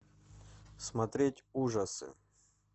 смотреть ужасы